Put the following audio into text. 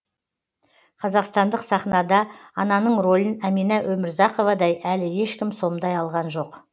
қазақстандық сахнада ананың ролін әмина өмірзақовадай әлі ешкім сомдай алған жоқ